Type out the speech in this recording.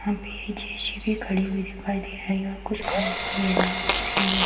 वहाँ पे एक जेसीबी खड़ी हुई दिखाई दे रही है और कुछ खम्भे वगैरा भी पड़े हुए --